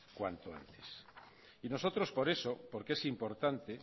cuanto antes y nosotros por eso porque es importante